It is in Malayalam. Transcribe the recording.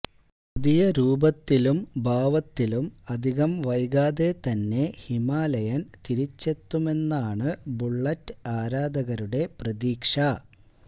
പുതിയ രൂപത്തിലും ഭാവത്തിലും അധികം വൈകാതെ തന്നെ ഹിമാലയന് തിരിച്ചെത്തുമെന്നാണ് ബുളളറ്റ് ആരാധകരുടെ പ്രതീക്ഷ